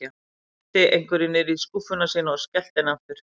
Hún henti einhverju niður í skúffuna sína og skellti henni aftur.